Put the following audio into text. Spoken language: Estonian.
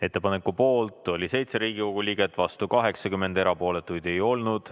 Ettepaneku poolt oli 7 Riigikogu liiget, vastu 80, erapooletuid ei olnud.